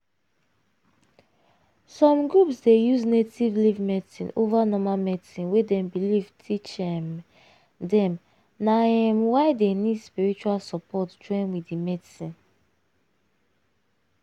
some groups dey use native leaf medicine over normal medicine wey dem belief teach um dem na um why dey need spiritual support join wit d medicine.